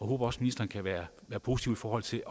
håber også ministeren kan være positiv i forhold til